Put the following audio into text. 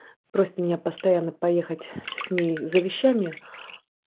просит меня постоянно поехать с ней за вещами